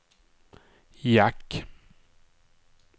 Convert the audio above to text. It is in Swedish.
jack